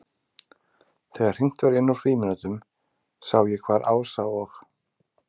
Þegar hringt var inn úr frímínútunum sá ég hvar Ása og